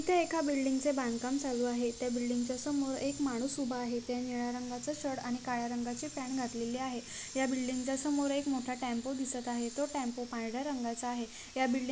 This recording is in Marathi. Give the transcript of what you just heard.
इथे एका एक बिल्डिग चे बांधकाम चालू आहे त्या बिल्डिग च्या समोर एक मानुस उभा आहे त्या निळ्या रंगाचा शर्ट आणि काळ्या रंगाची पँन्ट घातलेली आहे या बिल्डिग च्या समोर एक मोटा टेम्पो दिसत आहे तो टेम्पो पांढऱ्या रंगाचा आहे या बिल्डिग --